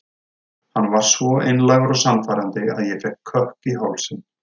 Hann var svo einlægur og sannfærandi að ég fékk kökk í hálsinn.